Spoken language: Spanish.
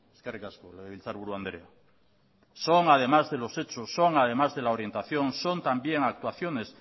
eskerrik asko legebiltzarburu andrea son además de los hechos son además de la orientación son también actuaciones